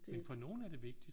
Men for nogen er det vigtigt